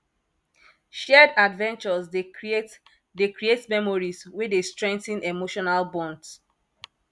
shared adventures dey create dey create memories wey dey strengthen emotional bonds